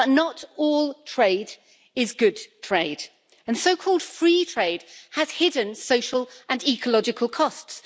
But not all trade is good trade, and so-called free trade has hidden social and ecological costs.